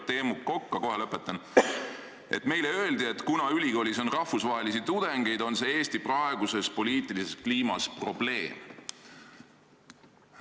Teemu Kokko – kohe lõpetan –, et neile öeldi, et kuna ülikoolis on välistudengeid, on see Eesti praeguses poliitilises kliimas probleem.